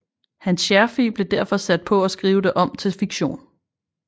Hans Scherfig blev derfor sat på at skrive det om til fiktion